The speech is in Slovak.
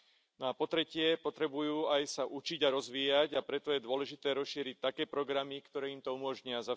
No a po tretie potrebujú aj sa učiť aj rozvíjať, a preto je dôležité rozšíriť také programy, ktoré im to umožnia.